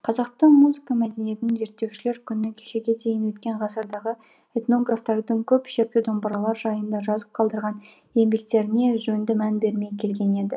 қазақтың музыка мәдениетін зерттеушілер күні кешеге дейін өткен ғасырдағы этнографтардың көп ішекті домбыралар жайында жазып қалдырған еңбектеріне жөнді мән бермей келген еді